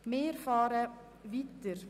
Wir fahren weiter.